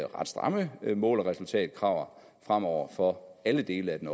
ret stramme mål og resultatkrav fremover for alle dele af den